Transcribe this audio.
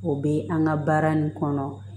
O bɛ an ka baara nin kɔnɔ